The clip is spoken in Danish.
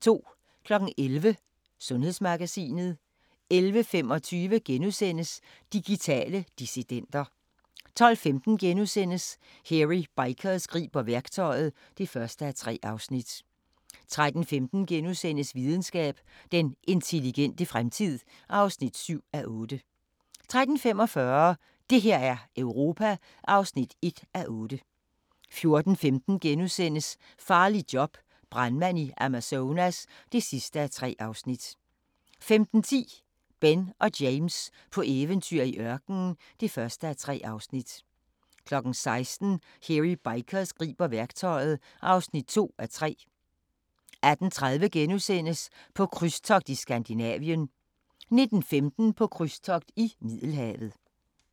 11:00: Sundhedsmagasinet 11:25: Digitale dissidenter * 12:15: Hairy Bikers griber værktøjet (1:3)* 13:15: Videnskab: Den intelligente fremtid (7:8)* 13:45: Det her er Europa (1:8) 14:15: Farligt job – brandmand i Amazonas (3:3)* 15:10: Ben og James på eventyr i ørkenen (1:3) 16:00: Hairy Bikers griber værktøjet (2:3) 18:30: På krydstogt i Skandinavien * 19:15: På krydstogt i Middelhavet